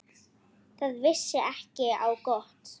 Það vissi ekki á gott.